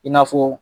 I n'a fɔ